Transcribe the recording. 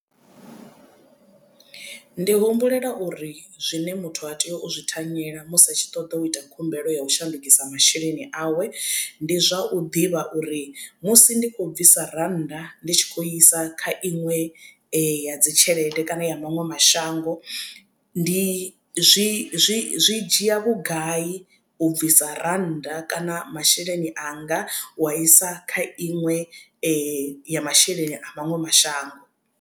Ndi humbulela uri zwine muthu a tea u zwi thanyela musi a tshi ṱoḓa u ita khumbelo ya u shandukisa masheleni awe ndi zwa u ḓivha uri musi ndi khou bvisa rannda ndi tshi khou i isa kha iṅwe ya dzitshelede kana ya maṅwe mashango ndi zwi zwi dzhia vhugai u bvisa rannda kana masheleni anga wa isa kha iṅwe ya masheleni a maṅwe mashango.